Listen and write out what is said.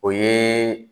O ye